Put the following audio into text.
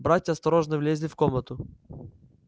братья осторожно влезли в комнату